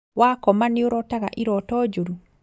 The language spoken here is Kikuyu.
Wakoma nĩũtotaga iroto njũru?